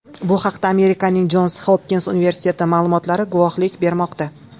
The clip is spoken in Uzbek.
Bu haqda Amerikaning Jons Hopkins universiteti ma’lumotlari guvohlik bermoqda .